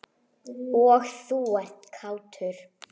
Og þú ert kátur.